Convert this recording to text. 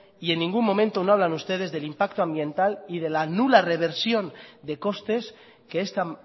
y en ningún momento no hablan ustedes del impacto ambiental y de la nula reversión de costes que esta